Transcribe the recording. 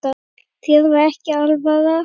Þér er ekki alvara